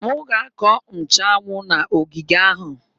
M ga-akọ nchuanwu n'ogige ahụ.